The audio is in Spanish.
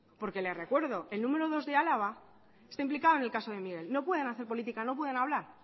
porque les recuerdo el número dos de álava está implicado en el caso de miguel no pueden hacer política no pueden hablar